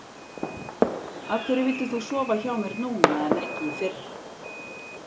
Af hverju vildir þú sofa hjá mér núna en ekki fyrr?